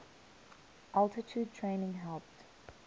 altitude training helped